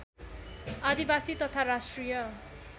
आदिवासी तथा राष्ट्रिय